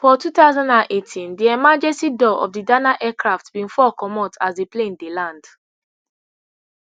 for two thousand and eighteen di emergency door of di aircraft bin fall comot as di plane dey land